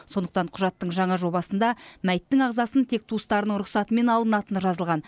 сондықтан құжаттың жаңа жобасында мәйіттің ағзасын тек туыстарының рұқсатымен алынатыны жазылған